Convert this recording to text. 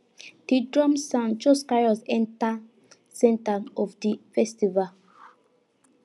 di drum sound just carry us enter center of di festival